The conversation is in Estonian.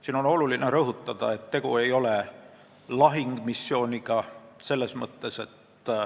Siin on oluline rõhutada, et tegu ei ole lahingumissiooniga.